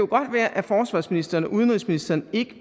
kan være at forsvarsministeren og udenrigsministeren ikke